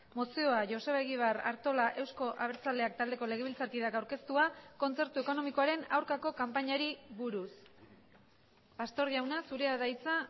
mozioa joseba egibar artola euzko abertzaleak taldeko legebiltzarkideak aurkeztua kontzertu ekonomikoaren aurkako kanpainari buruz pastor jauna zurea da hitza